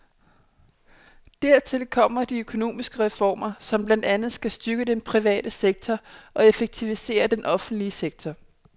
Dertil kommer de økonomiske reformer, som blandt andet skal styrke den private sektor og effektivisere den offentlige sektor.